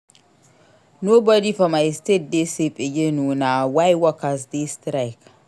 Nobodi for my state dey safe again o na why workers dey strike.